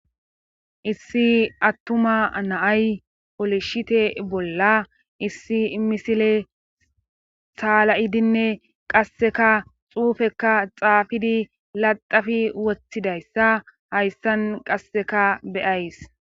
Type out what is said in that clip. Issi attuma naay olishite bolla issi misile saala7idinne qasseka xuufekka xaafidi laxafi woththidayssa hayssan qasseka beyays